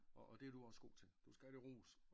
Og det er du også god til du skal have det ros